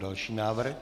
Další návrh.